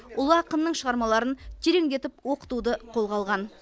ұлы ақынның шығармаларын тереңдетіп оқытуды қолға алған